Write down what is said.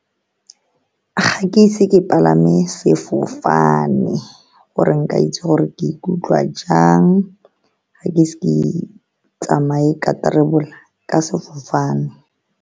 Ga ke ise ke palame sefofane, gore nka itse gore ke ikutlwa jang. Ga ke ise ke tsamaye ka travel-a ka sefofane.